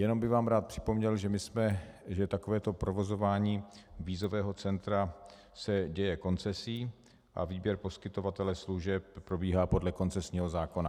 Jenom bych vám rád připomněl, že takovéto provozování vízového centra se děje koncesí a výběr poskytovatele služeb probíhá podle koncesního zákona.